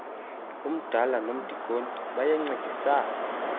umdala nomdikoni bayancedisana